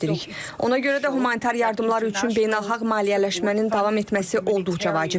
Ona görə də humanitar yardımlar üçün beynəlxalq maliyyələşmənin davam etməsi olduqca vacibdir.